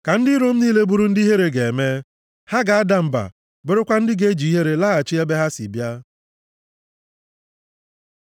Ka ndị iro m niile bụrụ ndị ihere ga-eme. Ha ga-ada mba, bụrụkwa ndị ga-eji ihere laghachi ebe ha si bịa.